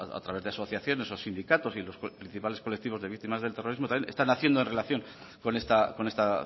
a través de asociaciones o sindicatos y los principales colectivos de víctimas del terrorismo también están haciendo en relación con esta